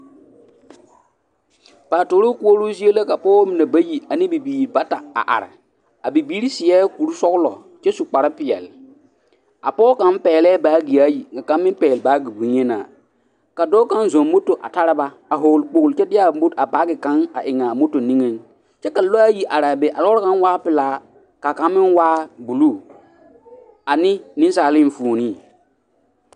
Paatoroo koɔroo zie la ka pɔɡebɔ mine bayi ane bibiiri bata a are a bibiiri seɛ kursɔɔlɔ kyɛ su kparpeɛle a pɔɡe kaŋ pɛɡelɛɛ baaɡea ayi ka kaŋ meŋ pɛɡele bonyenaa ka dɔɔ kaŋ zɔɔ moto a tara ba a hɔɔle kpoɡele kyɛ de a baaɡe kaŋa eŋ a niŋeŋ kyɛ ka lɔɛ ayi are be ka a lɔɔre kaŋ waa pelaa ka kaŋ meŋ waa buluu ane nensaale enfuoni.